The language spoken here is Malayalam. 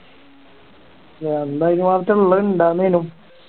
എന്നാ അതിനുമാത്രംള്ള ഇണ്ടാർന്നേനു